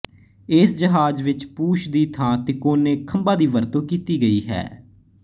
ਏਸ ਜਹਾਜ ਵਿੱਚ ਪੂਛ ਦੀ ਥਾਂ ਤਿਕੋਣੇ ਖੰਬਾਂ ਦੀ ਵਰਤੋਂ ਕੀਤੀ ਗਈ ਹੈ